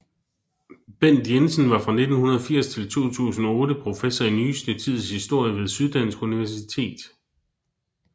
Bent Jensen var fra 1980 til 2008 professor i nyeste tids historie ved Syddansk Universitet